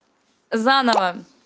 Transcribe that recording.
заново